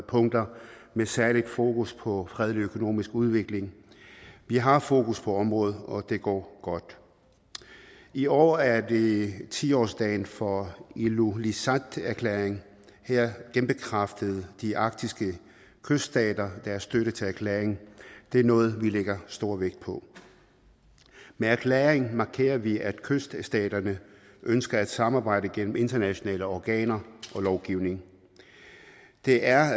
punkter med særligt fokus på fredelig økonomisk udvikling vi har fokus på området og det går godt i år er det tiårsdagen for ilulissaterklæringen her genbekræftede de arktiske kyststater deres støtte til erklæringen det er noget vi lægger stor vægt på med erklæringen markerer vi at kyststaterne ønsker at samarbejde gennem internationale organer og lovgivning det er